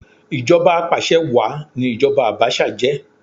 Ìjọba apàsẹ wàá ni ìjoba Abacha jẹ́